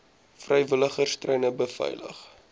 vrywilligers treine beveilig